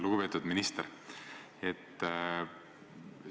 Lugupeetud minister!